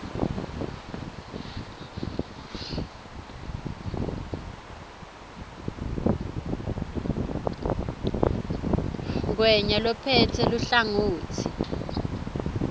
ngwenya lophetse luhlangotsi